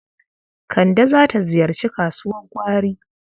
Kande za ta ziyarci kasuwar gwari.